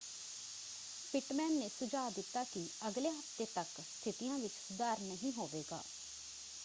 Pitman ਨੇ ਸੁਝਾਅ ਦਿੱਤਾ ਕਿ ਅਗਲੇ ਹਫ਼ਤੇ ਤੱਕ ਸਥਿਤੀਆਂ ਵਿੱਚ ਸੁਧਾਰ ਨਹੀਂ ਹੋਵੇਗਾ।